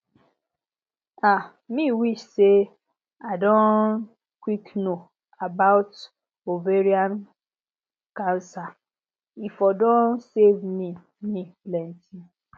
um me wish say i don quick know about ovarian cancer e for don save me me plenty